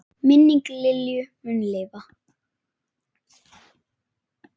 Minning Lilju mun lifa.